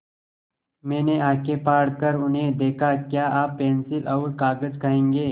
मैंने आँखें फाड़ कर उन्हें देखा क्या आप पेन्सिल और कागज़ खाएँगे